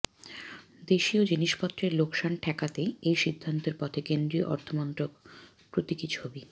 দেশিয় জিনিসপত্রের লোকসান ঠ্যাকাতেই এই সিদ্ধান্তের পথে কেন্দ্রীয়অর্থমন্ত্রক প্রতীকী ছবি